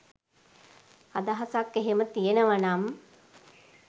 අදහසක් එහෙම තියනවනම්